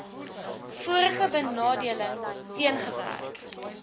vorige benadeling teengewerk